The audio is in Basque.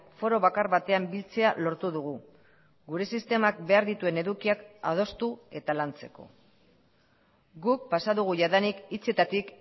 foro bakar batean biltzea lortu dugu gure sistemak behar dituen edukiak adostu eta lantzeko guk pasa dugu jadanik hitzetatik